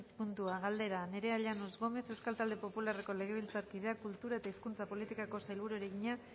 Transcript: puntua galdera nerea llanos gómez euskal talde popularreko legebiltzarkideak kultura eta hizkuntza politikako sailburuari egina